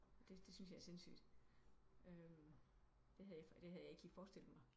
Det syntes jeg er sindsygt øh det havde jeg ikke lige forestillet mig